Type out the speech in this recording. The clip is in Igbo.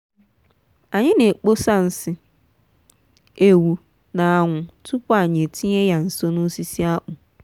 anyị n'akpọsa nsị ewu n'anwụ tupu anyị etinye ya nso n'osisi akpu.